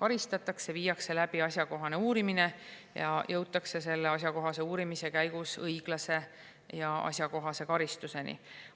karistatakse, viiakse läbi asjakohane uurimine ning jõutakse uurimise käigus õiglase ja asjakohase karistuseni.